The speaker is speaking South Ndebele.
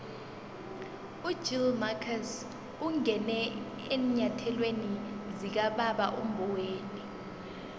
ugill marcus ungene eenyathelweni zikababa umboweni